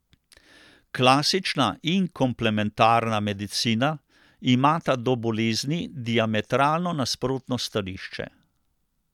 Klasična in komplementarna medicina imata do bolezni diametralno nasprotno stališče.